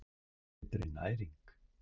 Betri næring